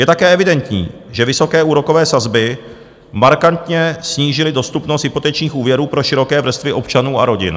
Je také evidentní, že vysoké úrokové sazby markantně snížily dostupnost hypotečních úvěrů pro široké vrstvy občanů a rodin.